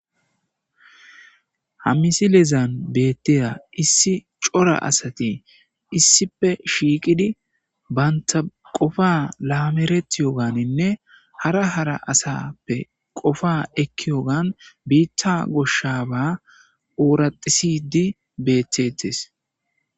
ha misilezan beetteya issi cora asati issife shiiqidi banta qofa laameretiyoganinne hara hara asappe qofa ekkiyogan biitta goshshaba ooraxisidi beetettes